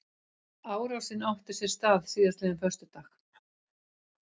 Árásin átti sér stað síðastliðinn föstudag